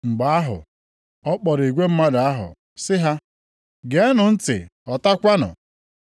Mgbe ahụ, ọ kpọrọ igwe mmadụ ahụ, sị ha, “Geenụ ntị, ghọtakwanụ.